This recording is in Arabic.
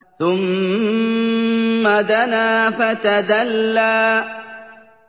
ثُمَّ دَنَا فَتَدَلَّىٰ